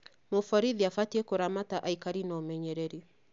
Mũborithi abatiĩ kũramata aikari na ũmenyereri